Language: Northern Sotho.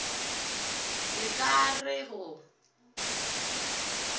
la ka a re go